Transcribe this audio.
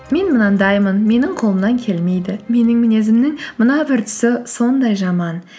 мен мынандаймын менің қолымнан келмейді менің мінезімнің мына бір тұсы сондай жаман